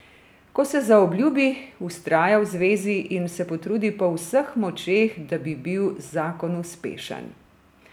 Ko se zaobljubi, vztraja v zvezi in se potrudi po vseh močeh, da bi bil zakon uspešen.